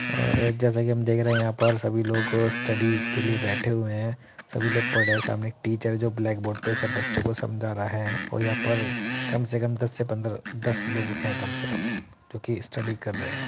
आ जैसा कि हम देख रहे हैं यहां पर सभी लोग स्टडी के लिए बैठे हुए हैं। सभी लोग पढ़ रहे हैं। सामने एक टीचर है जो ब्लैक बोर्ड पे सब बच्चों को समझा रहा है और यहां पर कम से कम दस से पंद्रह दस लोग हैं कम से कम जो कि स्टडी कर रहे हैं।